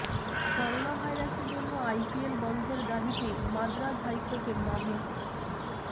corona ভাইরাসের জন্য IPL বন্ধের দাবিতে মাদ্রাজ হাইকোর্টে মামলা